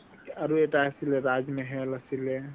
আৰু এটা আছিলে rajmahal আছিলে